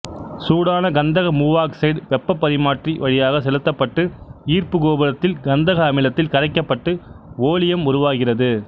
சூடான கந்தக மூவாக்சைடு வெப்ப பரிமாற்றி வழியாக செலுத்தப்பட்டு ஈர்ப்பு கோபுரத்தில் கந்தக அமிலத்தில் கரைக்கப்பட்டு ஓலியம் உருவாகிறது